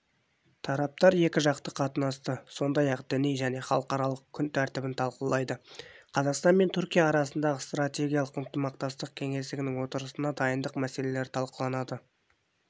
тараптар екіжақты қатынасты сондай-ақ діни және халықаралық күн тәртібін талқылайды қазақстан мен түркия арасындағы стратегиялық ынтымақтастық кеңесінің отырысына дайындық мәселесі талқыланады